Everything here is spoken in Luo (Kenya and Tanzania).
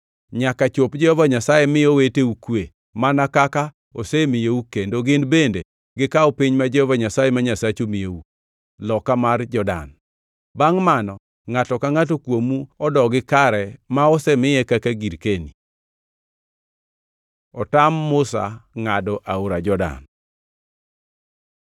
nyaka chop Jehova Nyasaye mi oweteu kwe, mana kaka osemiyou kendo gin bende gikaw piny ma Jehova Nyasaye ma Nyasachu miyou, loka mar Jordan. Bangʼ mano ngʼato ka ngʼato kuomu odogi kare ma asemiye kaka girkeni.” Otam Musa ngʼado Aora Jordan